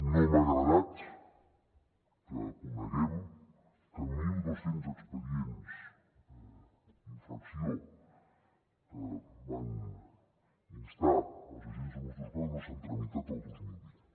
no m’ha agradat que coneguem que mil dos cents expedients d’infracció que van instar els agents de mossos d’esquadra no s’han tramitat el dos mil vint